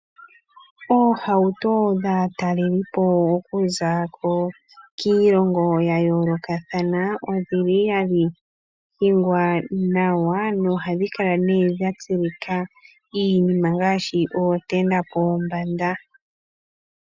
Oohauto dhaatalelipo okuza kiilongo yayoolokathana odhili hadhi hingwa nawa na ohadhi kala dhatulwa iinima ngaashi ootent pombanda.